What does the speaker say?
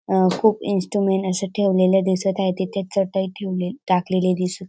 अ खूप इन्स्ट्रुमेंट अस ठेवलेल दिसत आहे तिथे चटई ठेवले टाकलेली दिसत--